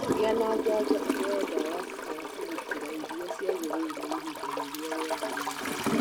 Gĩa na njajo ũheo ndawa cia kũgitĩra iria ciagĩrĩire ihinda rĩrĩa rĩagĩrĩire.